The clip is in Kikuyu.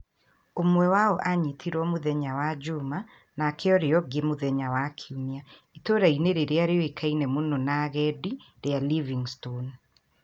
Ũmwe wao aanyitirũo mũthenya wa juuma nake ũrĩa ũngĩ mũthenya wa Kiumia. Itũũra-inĩ rĩrĩa rĩũĩkaine mũno na agendi , rĩa Livingstone.